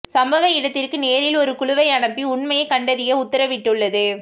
சம்பவ இடத்திற்கு நேரில் ஒரு குழுவை அனுப்பி உண்மையை கண்டறிய உத்தரவிட்டுள்ளது